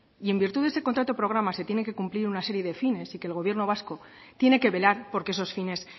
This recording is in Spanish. y en virtud de ese contrato programa se tiene que cumplir una serie de fines y que el gobierno vasco tiene que velar porque esos fines